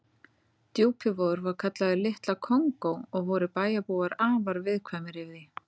Djúpivogur var kallaður Litla Kongó og voru bæjarbúar afar viðkvæmir fyrir því.